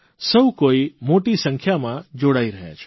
સૌ કોઇ મોટી સંખ્યામાં જોડાઇ રહ્યા છે